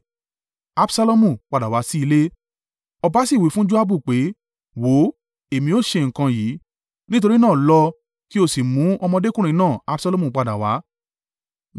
Ọba sì wí fún Joabu pé, “Wò ó, èmi ó ṣe nǹkan yìí, nítorí náà lọ, kí o sì mú ọmọdékùnrin náà Absalomu padà wá.”